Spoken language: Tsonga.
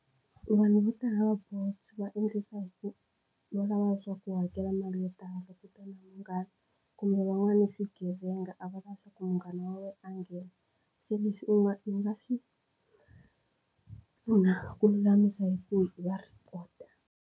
Vanhu vo tala va Bolt va endlisa hi ku va va lava leswaku u hakela mali yo tala, kutani . Kumbe van'wani i swigevenga a va lavi leswaku munghana wa wena a nghena. Se leswi u nga ku lulamisa hi ku u va report-a.